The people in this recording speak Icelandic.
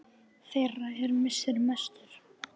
Þeirra er missir mestur.